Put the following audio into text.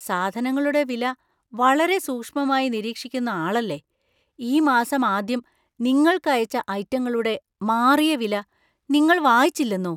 സാധനങ്ങളുടെ വില വളരെ സൂക്ഷ്മമായി നിരീക്ഷിക്കുന്ന ആളല്ലേ? ഈ മാസം ആദ്യം നിങ്ങൾക്ക് അയച്ച ഐറ്റങ്ങളുടെ മാറിയ വില നിങ്ങൾ വായിച്ചില്ലെന്നോ?